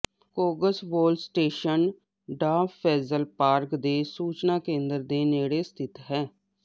Kongsvoll station Dovrefjell park ਦੇ ਸੂਚਨਾ ਕੇਂਦਰ ਦੇ ਨੇੜੇ ਸਥਿਤ ਹੈ